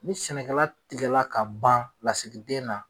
Ni sɛnɛkɛla tigɛla ka ban lasigi den na.